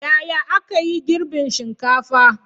Yaya aka yi girbin shinkafa?